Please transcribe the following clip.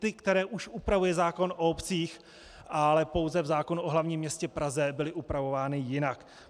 Ty, které už upravuje zákon o obcích, ale pouze v zákonu o hlavním městě Praze byly upravovány jinak.